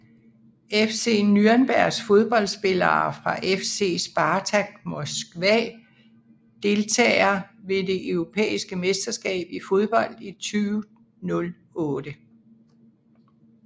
FC Nürnberg Fodboldspillere fra FC Spartak Moskva Deltagere ved det europæiske mesterskab i fodbold 2008